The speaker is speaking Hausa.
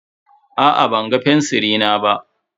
Aa ban ga fensiri na ba.